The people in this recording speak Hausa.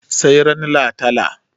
sai ran latala